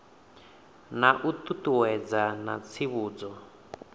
na u ṱuṱuwedza na tsivhudzo